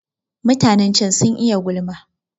Mutanen can sun iya gulma.